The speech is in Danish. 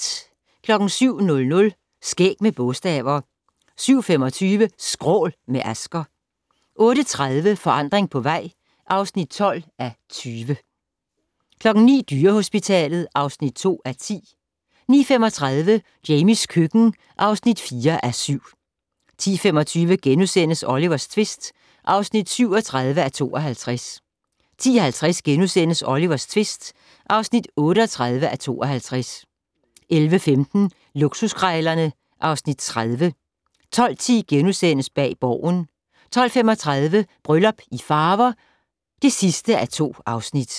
07:00: Skæg med bogstaver 07:25: Skrål - med Asger 08:30: Forandring på vej (12:20) 09:00: Dyrehospitalet (2:10) 09:35: Jamies køkken (4:7) 10:25: Olivers tvist (37:52)* 10:50: Olivers tvist (38:52)* 11:15: Luksuskrejlerne (Afs. 30) 12:10: Bag Borgen * 12:35: Bryllup i Farver (2:2)